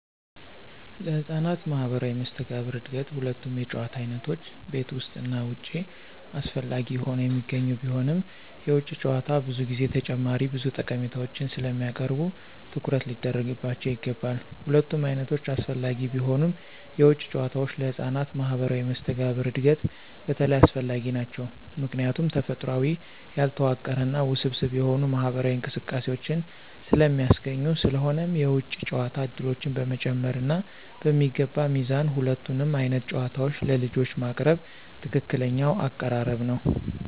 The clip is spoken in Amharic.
ለህፃናት ማህበራዊ መስተጋብር እድገት ሁለቱም የጨዋታ ዓይነቶች (ቤት ውስጥ እና ውጭ) አስፈላጊ ሆነው የሚገኙ ቢሆንም፣ የውጭ ጨዋታዎች ብዙ ጊዜ ተጨማሪ ብዙ ጠቀሜታዎችን ስለሚያቀርቡ ትኩረት ሊደረግባቸው ይገባል። ሁለቱም ዓይነቶች አስፈላጊ ቢሆኑም፣ የውጭ ጨዋታዎች ለህፃናት ማህበራዊ መስተጋብር እድገት በተለይ አስፈላጊ ናቸው ምክንያቱም ተፈጥሯዊ፣ ያልተዋቀረ እና ውስብስብ የሆኑ ማህበራዊ እንቅስቃሴዎችን ስለሚያስገኙ። ስለሆነም የውጭ ጨዋታ ዕድሎችን በመጨመር እና በሚገባ ሚዛን ሁለቱንም ዓይነት ጨዋታዎች ለልጆች ማቅረብ ትክክለኛው አቀራረብ ነው።